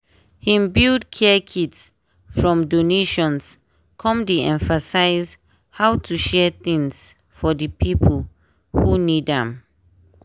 hin build care kits from donations come dey emphasize how to share things for di pipo who need am.